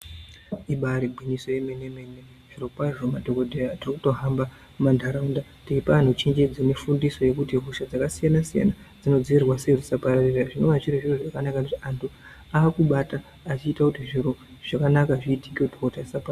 Ibari gwinyiso remenemene zvirokwazvo madhokodheya tirikuto hamba mumanharaunda tichipa anhu chenjedzo nefundiso yekuti hosha dzakasiyanasiyana dzinodziirirwa sei kuti dzisapararira zvinova zviri zviro zvakanaka anhu akubata echiite kuti zviro zvakanaka zviitike.